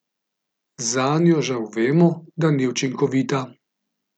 Zanjo žal vemo, da ni učinkovita.